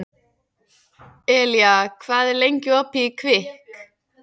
Elía, hvað er lengi opið í Kvikk?